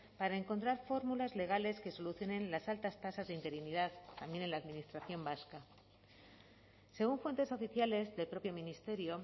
para encontrar fórmulas legales que solucionen las altas tasas de interinidad también en la administración vasca según fuentes oficiales del propio ministerio